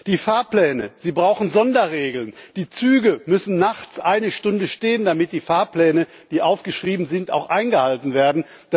Die Fahrpläne brauchen Sonderregeln, die Züge müssen nachts eine Stunde stehen, damit die Fahrpläne, die aufgeschrieben sind, auch eingehalten werden